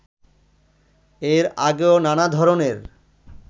এর আগেও নানা ধরণের